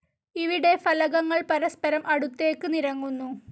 ഇവിടെ ഫലകങ്ങൾ പരസ്പരം അടുത്തേക്ക് നിരങ്ങുന്നു.